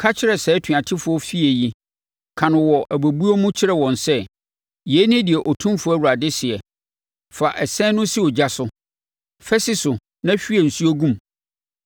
Ka kyerɛ saa atuatefoɔ efie yi, ka no wɔ abɛbuo mu kyerɛ wɔn sɛ: ‘Yei ne deɛ Otumfoɔ Awurade seɛ: “ ‘Fa ɛsɛn no si ogya so; fa si so na hwie nsuo gu mu.